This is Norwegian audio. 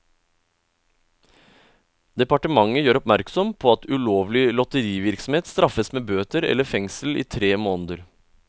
Departementet gjør oppmerksom på at ulovlig lotterivirksomhet straffes med bøter eller fengsel i tre måneder.